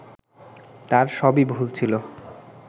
তার সবই ভুল ছিল